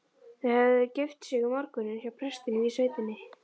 Þau höfðu gift sig um morguninn hjá prestinum í sveitinni.